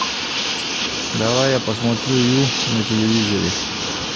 давай я посмотрю ю на телевизоре